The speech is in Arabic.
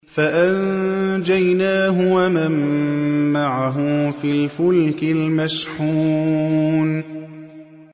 فَأَنجَيْنَاهُ وَمَن مَّعَهُ فِي الْفُلْكِ الْمَشْحُونِ